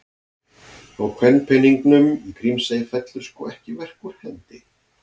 Og kvenpeningnum í Grímsey fellur sko ekki verk úr hendi.